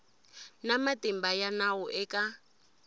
na matimba ya nawu eka